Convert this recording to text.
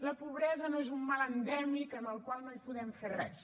la pobresa no és un mal endèmic contra el qual no hi podem fer res